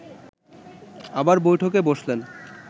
আবার বৈঠকে বসলেন